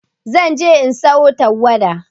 Zan je in sayo tawada.